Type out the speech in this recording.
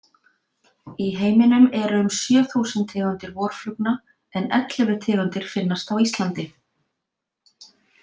Í heiminum eru um sjö þúsund tegundir vorflugna, en ellefu tegundir finnast á Íslandi.